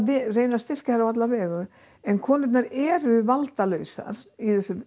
reyna að styrkja þær á alla vegu en konurnar eru valdalausar í þessu